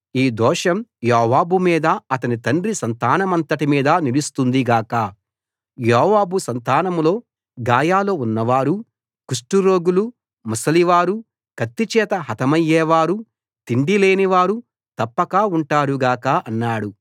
ఈ దోషం యోవాబు మీదా అతని తండ్రి సంతానమంతటి మీదా నిలుస్తుంది గాక యోవాబు సంతానంలో గాయాలు ఉన్నవారు కుష్టురోగులు ముసలివారు కత్తి చేత హతమయ్యేవారు తిండి లేనివారు తప్పక ఉంటారు గాక అన్నాడు